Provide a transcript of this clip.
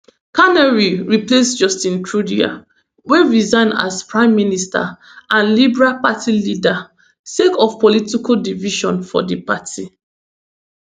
carney replace justin trudeau wey resign as prime minister and liberal party leader sake of political division for di party